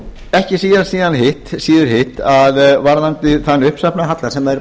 ekki síður hitt að varðandi þann uppsafnaða halla sem er